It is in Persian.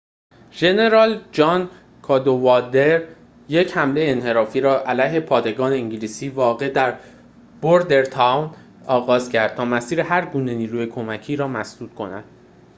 ژنرال جان کادوالدر یک حمله انحرافی را علیه پادگان انگلیسی واقع در بوردرتاون آغاز کرد تا مسیر هرگونه نیروی کمکی را مسدود کند